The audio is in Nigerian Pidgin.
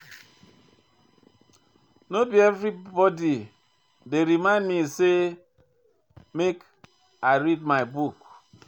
No be anybody go remind me sey make I read my book.